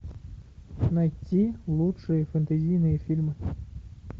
найти лучшие фентезийные фильмы